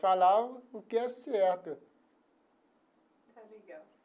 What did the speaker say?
Falar o que é certo. Está legal.